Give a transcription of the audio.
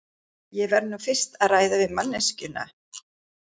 Ég verð nú fyrst að ræða við manneskjuna.